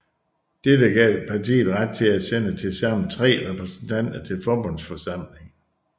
Dette gav partiet ret til at sende tilsammen tre repræsentanter til Forbundsforsamlingen